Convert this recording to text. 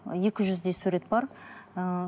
екі жүздей сурет бар ііі